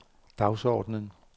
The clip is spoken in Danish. dagsordenen